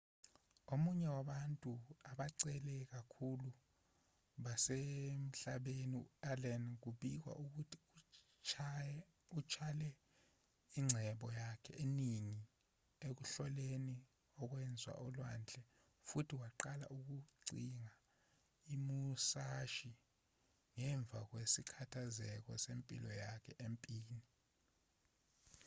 omunye wabantu abacebe kakhulu basemhlabeni u-allen kubikwa ukuthi utshale ingcebo yakhe eningi ekuhloleni okwenzeka olwandle futhi waqala ukucinga imusashi ngemva kwesithakazelo sempilo yonke empini